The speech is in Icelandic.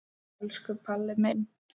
Elsku Palli minn.